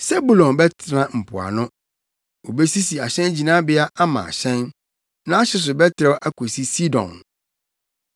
“Sebulon bɛtena mpoano. Obesisi ahyɛngyinabea ama ahyɛn. Nʼahye so bɛtrɛw akosi Sidon.